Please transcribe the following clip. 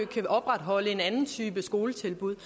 kan opretholde en anden type skoletilbud